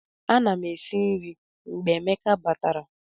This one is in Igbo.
Ana m esi nri mgbe Emeka batara